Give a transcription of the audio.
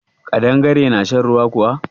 Ƙadangare na shan ruwa kuwa?